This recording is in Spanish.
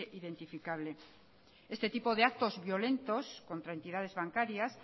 identificable este tipo de actos violentos contra entidades bancarias